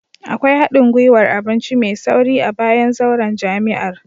Akwai hadin gwiwar abinci mai sauri a bayan zauren jami'ar